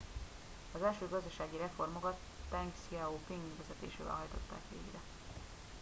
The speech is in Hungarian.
az első gazdasági reformokat teng hsziao ping vezetésével hajtották végre